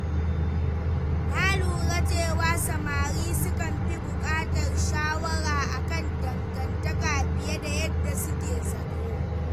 Na lura cewa samari sukan fi buƙatar shawara a kan dangantaka fiye da yadda suke zato.